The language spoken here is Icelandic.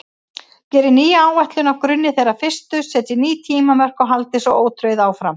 Gerið nýja áætlun á grunni þeirrar fyrstu, setjið ný tímamörk og haldið svo ótrauð áfram.